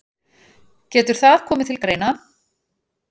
Getur það komið til greina.